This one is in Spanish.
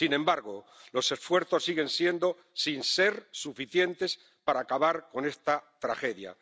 Sin embargo, los esfuerzos siguen siendo insuficientes para acabar con esta tragedia.